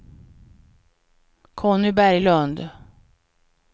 Conny Berglund